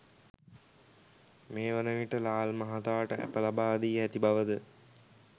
මේවන විට ලාල් මහතාට ඇප ලබාදී ඇති බවද